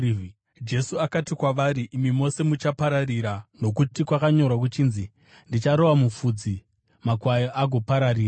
Jesu akati kwavari, “Imi mose muchapararira, nokuti kwakanyorwa kuchinzi: “ ‘Ndicharova mufudzi, makwai agopararira.’